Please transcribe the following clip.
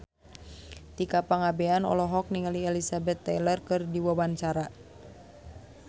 Tika Pangabean olohok ningali Elizabeth Taylor keur diwawancara